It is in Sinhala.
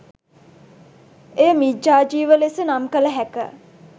එය මිච්ඡාජීව ලෙස නම් කළ හැක.